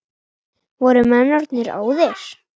Voru menn orðnir óðir!